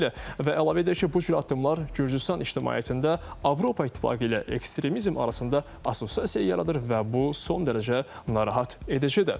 Və əlavə edir ki, bu cür addımlar Gürcüstan ictimaiyyətində Avropa İttifaqı ilə ekstremizm arasında assosiasiya yaradır və bu son dərəcə narahat edicidir.